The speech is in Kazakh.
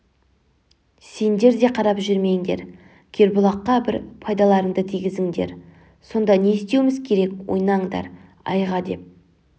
сендер де қарап жүрмеңдер кербұлаққа бір пайдаларыңды тигізіңдер сонда не істеуіміз керек ойнаңдар айға не деп